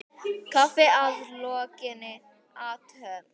Kaffi að lokinni athöfn.